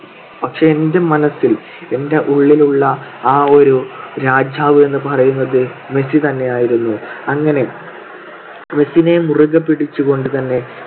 പക്ഷെ എന്റെ മനസ്സിൽ എന്റെ ഉള്ളിലുള്ള ആ ഒരു രാജാവെന്ന് പറയുന്നത് മെസ്സി തന്നെയായിരുന്നു. അങ്ങനെ മെസീനെ മുറുകെ പിടിച്ചുകൊണ്ടുതന്നെ